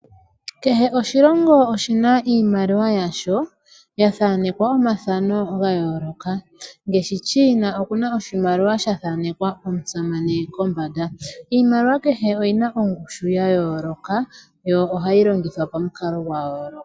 Kehe oshilongo oshi na iimaliwa yasho ya thanekwa omathano ga yooloka, ngaashi China okuna oshimaliwa sha thanekwa omusamane kombanda. Iimaliwa kehe oyi na ongushu ya yooloka yo oha yi longithwa pamukalo gwa yooloka.